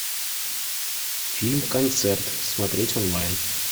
фильм концерт смотреть онлайн